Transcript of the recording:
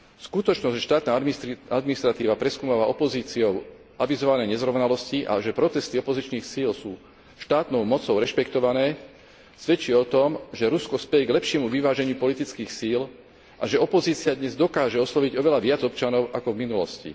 Skutočnosť, že štátna administratíva preskúmava opozíciou avizované nezrovnalosti a že protesty opozičných síl sú štátnou mocou rešpektované, svedčí o tom, že Rusko speje k lepšiemu vyváženiu politických síl a že opozícia dnes dokáže osloviť oveľa viac občanov ako v minulosti.